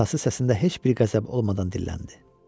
Atası səsində heç bir qəzəb olmadan dilləndi.